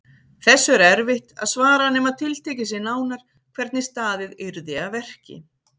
Þessu er erfitt að svara nema tiltekið sé nánar hvernig staðið yrði að verki.